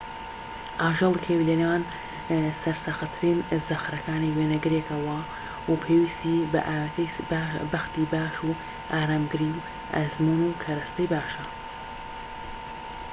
ئاژەڵی کێوی لە نێوان سەرسەختترین زەخرەکانی وێنەگرێکە و پێویستی بە ئاوێتەی بەختی باش و ئارامگری و ئەزموون و کەرەستەی باشە